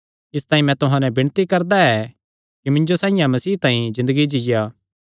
इसतांई मैं तुहां नैं विणती करदा ऐ कि मिन्जो साइआं मसीह तांई ज़िन्दगी जीआ